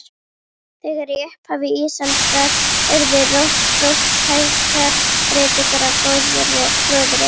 Þegar í upphafi ísaldar urðu róttækar breytingar á gróðri.